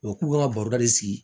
U k'u ka baroda de sigi